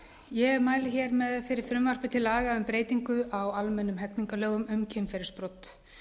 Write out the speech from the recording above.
ég mæli fyrir frumvarpi til laga um breytingu á almennum hegningarlögum um kynferðisbrot